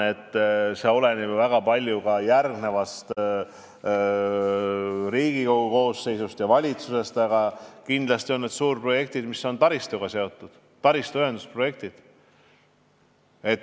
See oleneb väga palju ka järgmisest Riigikogu koosseisust ja valitsusest, aga ma arvan, et need on taristuga seotud suurprojektid, taristuühendusprojektid.